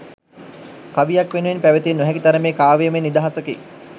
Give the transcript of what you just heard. කවියක් වෙනුවෙන් පැවතිය නොහැකි තරමේ කාව්‍යමය නිදහසකි